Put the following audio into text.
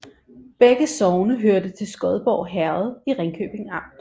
Begge sogne hørte til Skodborg Herred i Ringkøbing Amt